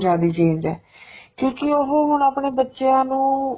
ਜਿਆਦਾ ਈ change ਏ ਕਿਉਂਕਿ ਉਹ ਹੁਣ ਆਪਣੇ ਬੱਚਿਆਂ ਨੂੰ